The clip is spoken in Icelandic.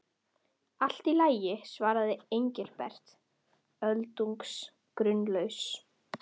Allt í lagi svaraði Engilbert, öldungis grunlaus.